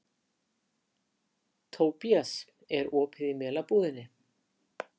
Tobías, er opið í Melabúðinni?